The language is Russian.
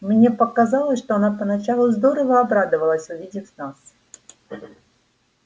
мне показалось что она поначалу здорово обрадовалась увидав нас